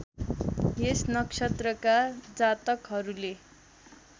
यस नक्षत्रका जातकहरूले